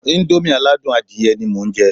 Íńdómì aládùn adìyẹ ni mo ń jẹ́